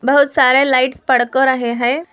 बहुत सारे लाइट्स फड़क रहे है।